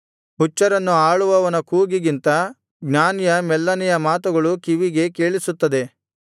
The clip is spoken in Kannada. ಹುಚ್ಚರನ್ನು ಆಳುವವನ ಕೂಗಿಗಿಂತ ಜ್ಞಾನಿಯ ಮೆಲ್ಲನೆಯ ಮಾತುಗಳು ಕಿವಿಗೆ ಕೇಳಿಸುತ್ತದೆ